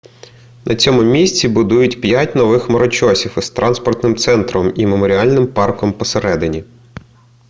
на цьому місці будують п'ять нових хмарочосів із транспортним центром і меморіальним парком посередині